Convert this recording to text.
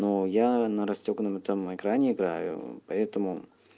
ну я на растёгнутом экране играю поэтому